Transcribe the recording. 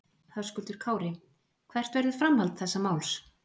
Höskuldur Kári: Hvert verður framhald þessa máls?